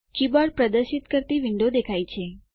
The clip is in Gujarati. કીબોર્ડ પ્રદર્શિત કરતી વિન્ડો દેખાય છે